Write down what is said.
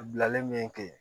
Bilalen ke